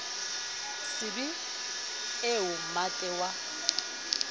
se be eo mmate wa